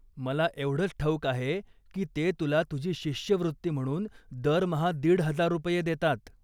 मला एवढंच ठाऊक आहे की ते तुला तुझी शिष्यवृत्ती म्हणून दरमहा दीड हजार रुपये देतात.